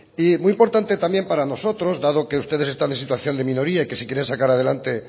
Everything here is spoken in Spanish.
y muy importante también para nosotros dado que ustedes están en situación de minoría y que si quieren sacar adelante